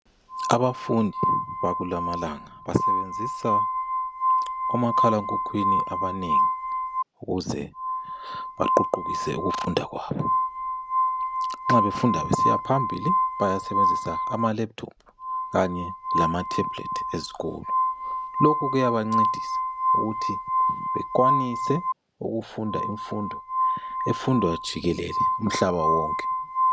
Abafundi bakula amalanga basebenzisa omakhalekhukhwini abanengi ukuze baququkise ukufunda kwabo. Nxa befunda besiya phambili bayasebenzisa ama laptop kanye lama thebhulethi ezikolo. Lokhu kuyabancedisa ukuthi bekwanise ukufunda imfundo efundwa jikelele umhlaba wonke.